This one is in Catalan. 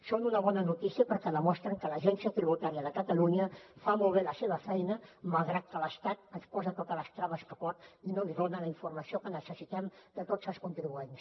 són una bona notícia perquè demostren que l’agència tributària de catalunya fa molt bé la seva feina malgrat que l’estat ens posa totes les traves que pot i no ens dona la informació que necessitem de tots els contribuents